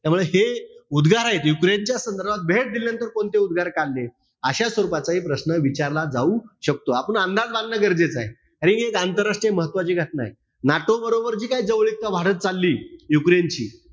त्यामुळे हे उद्गार आहेत. युक्रेनच्या संदर्भात भेट दिल्यानंतर कोणते उद्गार काढले? अशा स्वरूपाचाही प्रश्न विचारला जाऊ शकतो. आपुन अंदाज बांधणं गरजेचं आहे. आणि हि एक आंतरराष्ट्रीय महत्वाची घटना आहे. NATO बरोबर जी काही जवळीकता वाढत चालली, युक्रेनची,